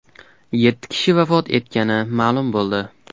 Yetti kishi vafot etgani ma’lum bo‘ldi.